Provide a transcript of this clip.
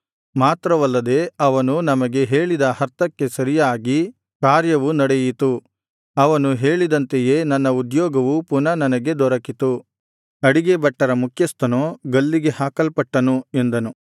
ಮಾತ್ರವಲ್ಲದೆ ಅವನು ನಮಗೆ ಹೇಳಿದ ಅರ್ಥಕ್ಕೆ ಸರಿಯಾಗಿ ಕಾರ್ಯವು ನಡೆಯಿತು ಅವನು ಹೇಳಿದಂತೆಯೇ ನನ್ನ ಉದ್ಯೋಗವು ಪುನಃ ನನಗೆ ದೊರಕಿತು ಅಡಿಗೆ ಭಟ್ಟರ ಮುಖ್ಯಸ್ಥನೋ ಗಲ್ಲಿಗೆ ಹಾಕಲ್ಪಟ್ಟನು ಎಂದನು